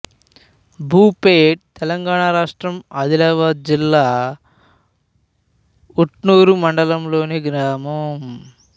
భూపేట్ తెలంగాణ రాష్ట్రం ఆదిలాబాద్ జిల్లా ఉట్నూరు మండలంలోని గ్రామం